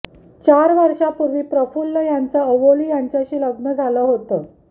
चार वर्षांपूर्वी प्रफुल्ल यांचं अवोली यांच्याशी लग्न झालं होतं